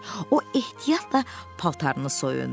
O ehtiyatla paltarını soyundu.